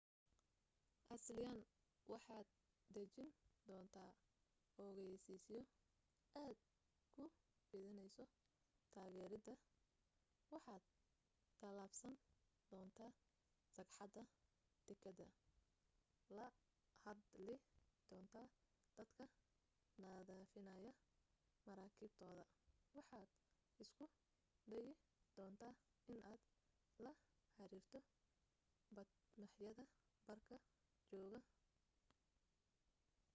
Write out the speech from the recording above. asliyan waxaad dhejin doontaa ogaysiisyo aad ku fidinayso taageeradaada waxaad tallaabsan doonta sagxadda dekedda la hadli doontaa dadka nadiifinaya maraakiibtooda waxaad isku dayi doontaa inaad la xiriirto bad-maaxyada baarka jooga iwm